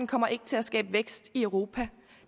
kommer ikke til at skabe vækst i europa